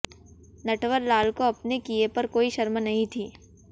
नटवर लाल को अपने किए पर कोई शर्म नहीं थी